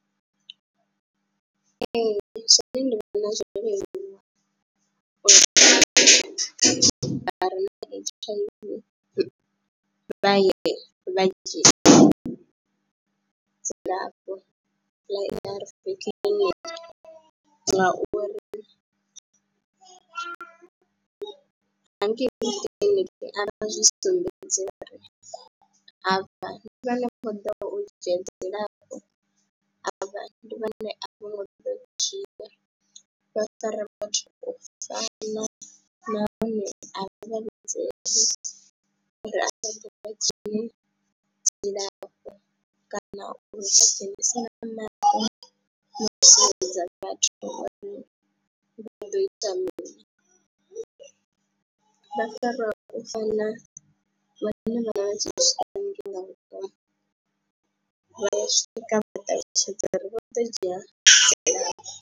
Ee, zwone ndi vhona zwo leluwa uri vhathu vha re na H_I_V vha ye vha dzhie dzilafho ḽa A_R_V kiḽiniki ngauri hangei kiḽiniki a vha zwi sumbedzi uri avha ndi vha no khou ḓa u dzhia dzilafho, avha ndi vhone a vhane vho ḓo dzhia, vha fara vhathu u fana nahone a uri vha dzhie dzilafho kana u si na maḓi vho sedza vhathu uri vha ḓo ita mini, vha fariwa u fana na vha ya swika vha ṱalutshedza uri vho ḓo dzhia dzilafho.